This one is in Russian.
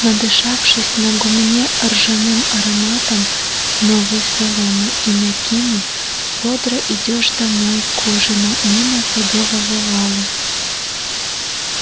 надышавшись на гумне ржаным ароматом новой соломы и мякины бодро идёшь домой к ужину мимо садового вала